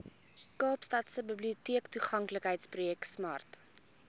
kaapstadse biblioteektoeganklikheidsprojek smart